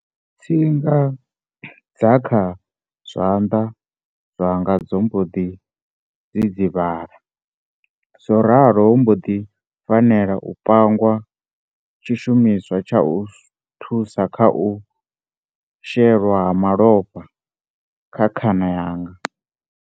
Tsinga dza kha zwanḓa zwanga dzo mboḓi dzidzivhala, zworalo ho mboḓi fanela u pangwa tshi shumiswa tsha u thusa kha u shelwa ha malofha kha khana yanga.